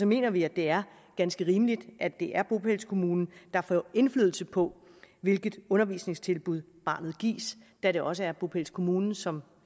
mener vi at det er ganske rimeligt at det er bopælskommunen der får indflydelse på hvilket undervisningstilbud barnet gives da det også er bopælskommunen som